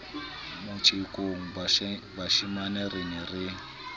motjekong bashemane re ne re